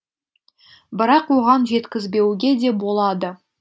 бірақ оған жеткізбеуге де болады